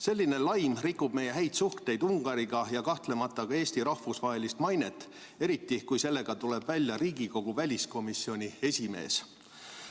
Selline laim rikub meie häid suhteid Ungariga ja kahtlemata ka Eesti rahvusvahelist mainet, eriti kui sellega tuleb välja Riigikogu väliskomisjoni esimees.